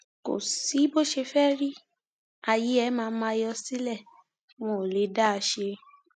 kò sí bó ṣe fẹẹ rí ààyè ẹ máa máa yọ sílé wọn ò lè dá a ṣe